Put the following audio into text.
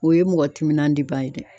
O ye mɔgɔ timinanba ye dɛ.